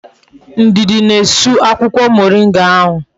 Ndidi na-esu akwukwo moringa ahu